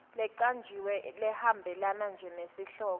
lecanjiwe lehambelana nesihloko